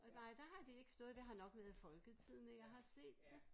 Og nej der har det ikke stået det har nok været i Folketidende jeg har set det